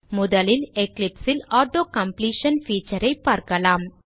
முதலில் Eclipse ல் auto completion feature ஐ பார்க்கலாம்